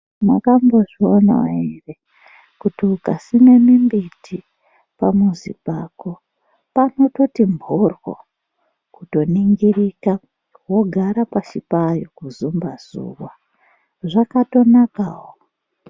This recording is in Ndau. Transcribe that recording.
Makambozvionawo ere kuti ungasime mimbiti pamuzi pako panototi mhorwo kutoningirika wogara pashi payo kuzemba zuva, zvakatonakawo.